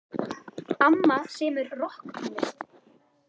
Amma semur rokktónlist.